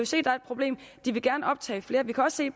se der er et problem de vil gerne optage flere vi kan også se